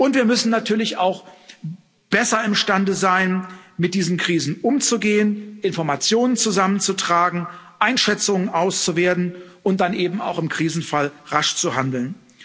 Wir müssen natürlich auch besser imstande sein, mit diesen Krisen umzugehen, Informationen zusammenzutragen, Einschätzungen auszuwerten und dann eben auch im Krisenfall rasch zu handeln.